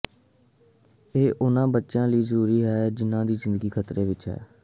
ਇਹ ਉਨ੍ਹਾਂ ਬੱਚਿਆਂ ਲਈ ਜ਼ਰੂਰੀ ਹੈ ਜਿਹਨਾਂ ਦੀ ਜ਼ਿੰਦਗੀ ਖਤਰੇ ਵਿੱਚ ਹੈ